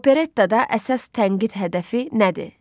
Operettada əsas tənqid hədəfi nədir?